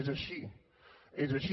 és així és així